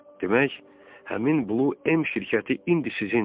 Demək, həmin Blue M şirkəti indi sizindir.